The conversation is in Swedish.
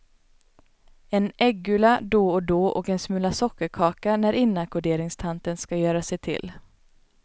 En äggula då och då och en smula sockerkaka när inackorderingstanten ska göra sig till.